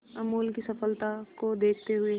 अमूल की सफलता को देखते हुए